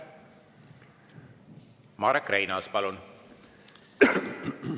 Marek Reinaas, palun!